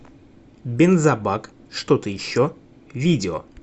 бензобак что то еще видео